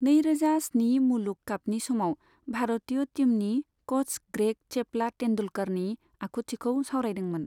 नै रोजा स्नि मुलुग कापनि समाव भारतिय टिमनि कच ग्रेग चैपला तेंदुलकरनि आखुथिखौ सावरायदोंमोन।